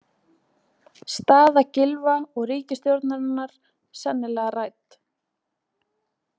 Staða Gylfa og ríkisstjórnarinnar sennilega rædd